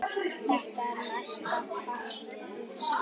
Þetta er mestan part ufsi